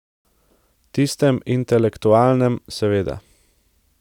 Tistem intelektualnem, seveda.